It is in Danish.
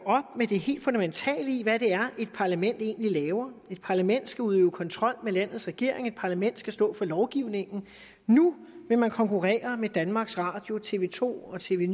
med det helt fundamentale i hvad det er et parlament egentlig laver et parlament skal udøve kontrol med landets regering og et parlament skal stå for lovgivningen nu vil man konkurrere med danmarks radio og tv to og tv